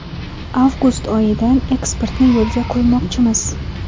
Avgust oyidan eksportni yo‘lga qo‘ymoqchimiz.